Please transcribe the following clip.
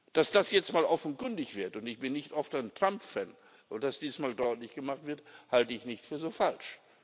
Dass das jetzt mal offenkundig wird und ich bin nicht oft ein Trump Fan und dass dies mal deutlich gemacht wird, halte ich nicht für so falsch.